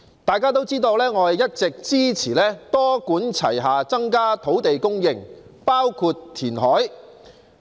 大家都知道，我一直支持多管齊下增加土地供應，包括填海。